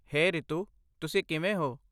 ਹੇ ਰੀਤੂ, ਤੁਸੀਂ ਕਿਵੇਂ ਹੋ?